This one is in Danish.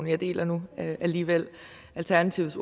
jeg deler nu alligevel alternativets